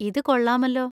ഇത് കൊള്ളാമല്ലോ.